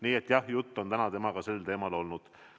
Nii et jah, juttu on täna temaga sel teemal olnud.